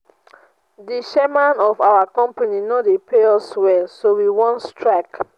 the chairman of our company no dey pay us well so we wan strike